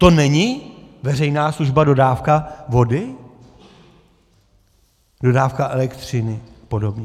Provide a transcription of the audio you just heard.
To není veřejná služba - dodávka vody, dodávka elektřiny a podobně?